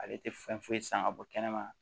Ale tɛ fɛn foyi san ka bɔ kɛnɛma